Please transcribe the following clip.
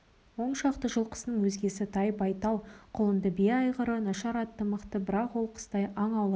он шақты жылқысының өзгесі тай-байтал құлынды бие айғыры нашар аты мықты бірақ ол қыстай аң аулайтын